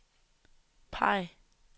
peg